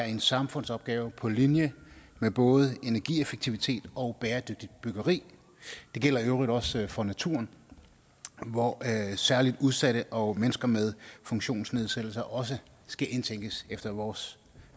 en samfundsopgave på linje med både energieffektivitet og bæredygtigt byggeri det gælder i øvrigt også for naturen hvor særligt udsatte og mennesker med funktionsnedsættelser også skal indtænkes efter vores